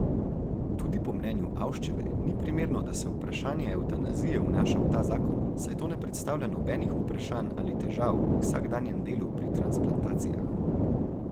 Tudi po mnenju Avščeve ni primerno, da se vprašanje evtanazije vnaša v ta zakon, saj to ne predstavlja nobenih vprašanj ali težav v vsakdanjem delu pri transplantacijah.